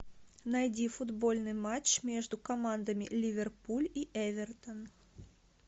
найди футбольный матч между командами ливерпуль и эвертон